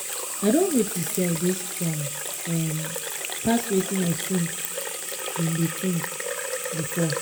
i don notice say i dey strong um pass wetin i think been dey think um before